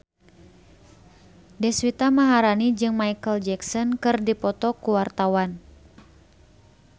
Deswita Maharani jeung Micheal Jackson keur dipoto ku wartawan